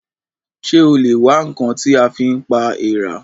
Ṣé o lè wá ǹkan tí a fi pa èèrà?